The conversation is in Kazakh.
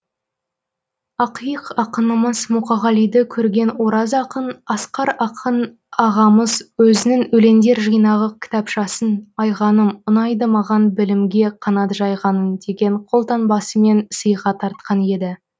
ақиық ақынымыз мұқағалиды көрген ораз ақын асқар ақын ағамыз өзінің өлеңдер жинағы кітапшасын айғаным ұнайды маған білімге қанат жайғаның деген қолтаңбасымен сыйға тартқан еді